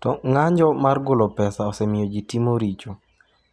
To ng’anjo mar golo pesa osemiyo ji timo richo,